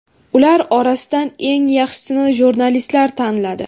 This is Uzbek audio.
Ular orasidan eng yaxshisini jurnalistlar tanladi.